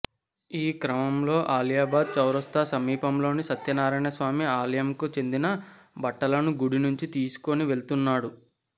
ఈ క్రమంలో అలియాబాద్ చౌరస్తా సమీపంలోని సత్యనారాయణ స్వామి ఆలయంకు చెందిన బట్టలను గుడి నుంచి తీసుకొని వెల్తున్నాడు